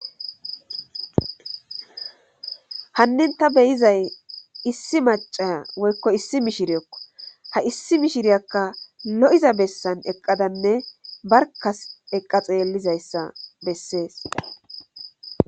hannin ta beyizay issi macaya woykko issi mishiriekko ha issi mishiriyakka lo7iza bessan eqqadanne barkas eqqa xeellizayssa bessees